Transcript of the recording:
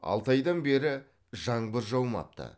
алты айдан бері жаңбыр жаумапты